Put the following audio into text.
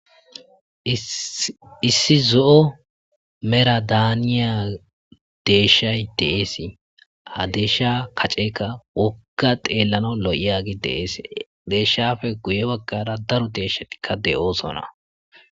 Issi zo'o mera daaniya deeshay deeesi adeesha kaceeka woka xeellano lo7iaagi deees deeshshafe guye baggara daro deeshatikka de7oosona.